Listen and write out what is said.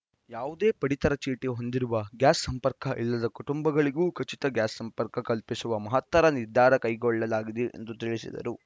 ಯಾವುದೇ ಪಡಿತರ ಚೀಟಿ ಹೊಂದಿರುವ ಗ್ಯಾಸ್‌ ಸಂಪರ್ಕ ಇಲ್ಲದ ಕುಟುಂಬಗಳಿಗೂ ಉಚಿತ ಗ್ಯಾಸ್‌ ಸಂಪರ್ಕ ಕಲ್ಪಿಸುವ ಮಹತ್ತರ ನಿರ್ಧಾರ ಕೈಗೊಳ್ಳಲಾಗಿದೆ ಎಂದು ತಿಳಿಸಿದರು